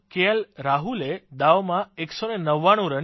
રાહુલે દાવમાં 199 રન કર્યા